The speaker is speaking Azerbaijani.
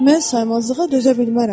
Mən saymazlığa dözə bilmərəm.